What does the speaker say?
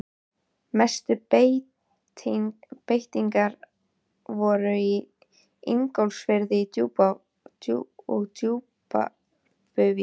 Mestu breytingarnar voru í Ingólfsfirði og Djúpuvík.